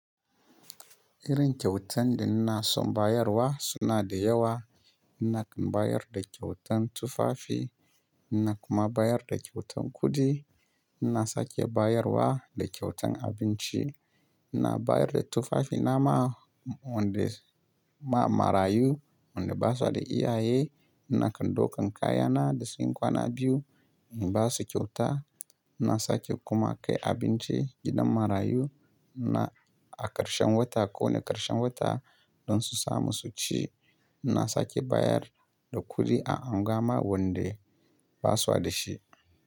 Irin kyautan da ina son bayarwa suna da yawa. Ina bayar da kyautan tufafi, ina kuma bayar da kyautan kuɗi. Ina sake bayarwa da kyautan abinci. Ina bayar da tufafina ma wanda ma marayu wanda basu da iyaye. Ina kai dokan kayana da sun yi kwana biyu in basu kyauta. Ina sake kuma kai abinci gidan marayu ina a karshen wata ko ne karshen wata don su samu su ci. Ina sake bayar da kuɗi a unguwa ma wande basua da shi.